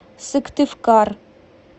сыктывкар